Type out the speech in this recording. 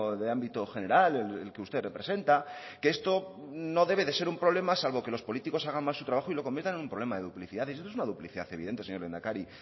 de ámbito general el que usted representa esto no debe de ser un problema salvo que los políticos hagan mal su trabajo y lo conviertan en un problema de duplicidades y esto es una duplicidad evidente señor lehendakari